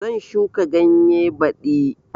Zan shuka ganye baɗi